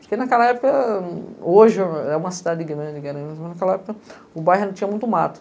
Porque naquela época, hoje é uma cidade grande, mas naquela época o bairro não tinha muito mato.